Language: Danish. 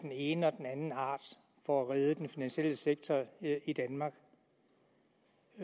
den ene og den anden art for at redde den finansielle sektor i danmark